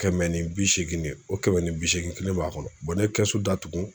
Kɛmɛ ni bi seegin de, o kɛmɛ ni bi seegin kelen b'a kɔnɔ ne ye kɛsu datugu